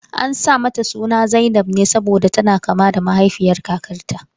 An sa mata suna zainab ne saboda tana kama da mahaifiyar kakarta.